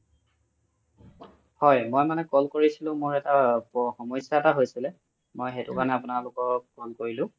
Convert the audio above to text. হয় মই মানে call কৰিছিলো মোৰ এটা সমস্যা হয়ছিলে মই সৈতো কাৰোণে আপোনালোকক call কৰিলো